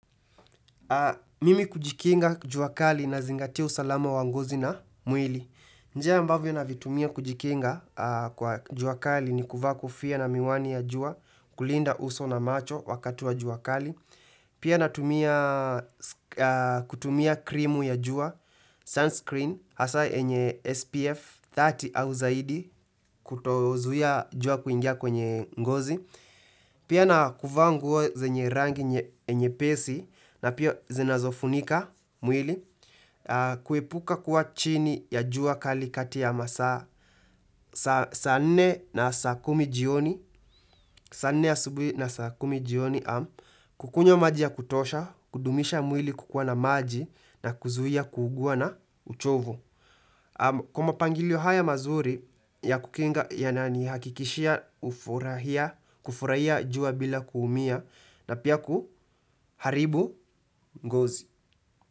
Mimi kujikinga juakali na zingati usalama wa ngozi na mwili. Njia ambavyo na navitumia kujikinga kwa juakali ni kuvaa kofia na miwani ya jua kulinda uso na macho wakatu wa juakali. Pia na kutumia krimu ya jua, sunscreen, hasa enye SPF 30 au zaidi kutozuia jua kuingia kwenye ngozi. Pia na kuvaa nguo zenye rangi nye pesi na pia zinazofunika mwili kuepuka kuwa chini ya jua kali kati ya masaa saa nne na saakumi jioni, saa nne ya subi na saakumi jioni, kukunywa maji ya kutosha, kudumisha mwili kukua na maji na kuzuia kugua na uchovu. Kwa ma pangilio haya mazuri ya kukinga yanani hakikishia ufurahia, kufurahia jua bila kuumia na pia kuharibu mgozi.